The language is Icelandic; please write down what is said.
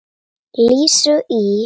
Lísu í